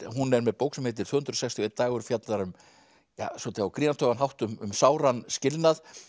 hún er með bók sem heitir tvö hundruð sextíu og eitt dagur fjallar um á grínartugan hátt um sáran skilnað